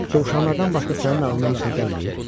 Dovşanlardan başqa sənin ağlına heç nə gəlmir?